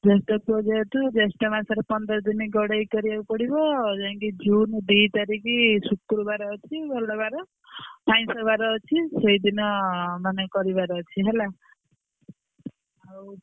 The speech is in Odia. ଜ୍ୟଷ୍ଠ ପୁଅ ଯେହେତୁ ଜ୍ୟଷ୍ଠ ମାସରେ ପନ୍ଦର ଦିନି ଗଡେଇ କରିବାକୁ ପଡିବ ଯାଇକି June ଦି ତାରିଖି ଶୁକ୍ରବାର ଅଛି ଭଲ ବାର ଆଇଁଷବାର ଅଛି ସେଇଦିନ ନହେଲେ କରିବାର ଅଛି ହେଲା।